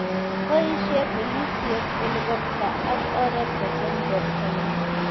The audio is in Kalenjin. Boisie polisiek helikopta ak oret kocheng' bortanyi .